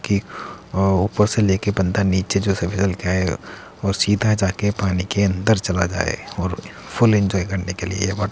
की अ ऊपर से लेके बंदा नीचे जो और सीधा जाके पानी के अंदर चला जाये और फुल एन्जॉय करने के लिए है ये वाटर --